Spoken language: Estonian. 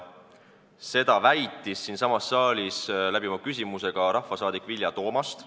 Seda väitis siinsamas saalis oma küsimuses ka rahvasaadik Vilja Toomast.